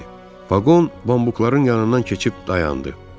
Vaqon pambıqların yanından keçib dayandı.